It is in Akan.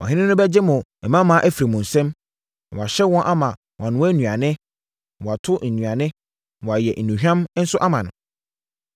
Ɔhene no bɛgye mo mmammaa afiri mo nsam, na wahyɛ wɔn ama wɔanoa nnuane, na wɔato nnuane, na wɔayɛ nnuhwam nso ama no.